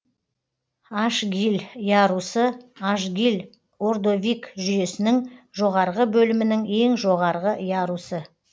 ашгиль ярусы ашгиль ордовик жүйесінің жоғарғы бөлімінің ең жоғарғы ярусы